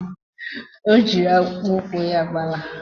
Ọ jịrị akpụkpọ ụkwụ ya gbalaa